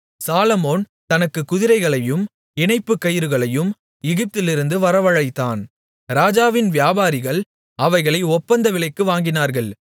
சாலொமோன் தனக்குக் குதிரைகளையும் இணைப்புக் கயிறுகளையும் எகிப்திலிருந்து வரவழைத்தான் ராஜாவின் வியாபாரிகள் அவைகளை ஒப்பந்த விலைக்கு வாங்கினார்கள்